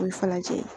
O ye falenjɛ ye